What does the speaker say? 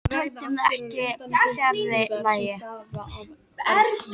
Við töldum það ekki fjarri lagi.